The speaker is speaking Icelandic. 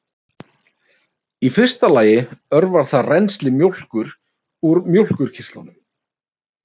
Í fyrsta lagi örvar það rennsli mjólkur úr mjólkurkirtlum.